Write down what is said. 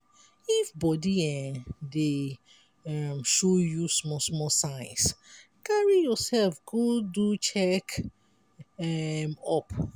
if body um dey um show you small small signs carry yourself go do check um up